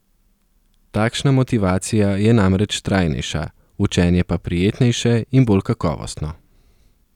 Takšna motivacija je namreč trajnejša, učenje pa prijetnejše in bolj kakovostno.